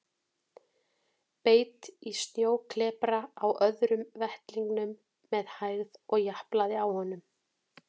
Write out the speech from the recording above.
Beit í snjóklepra á öðrum vettlingnum með hægð og japlaði á honum.